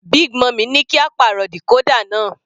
Big mummy ní kí á pàrọ̀ decorder náà.